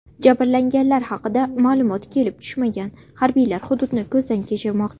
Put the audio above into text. Jabrlanganlar haqida ma’lumot kelib tushmagan, harbiylar hududni ko‘zdan kechirmoqda.